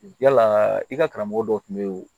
Yalaa i ka karamɔgɔ dɔ tun bɛ yen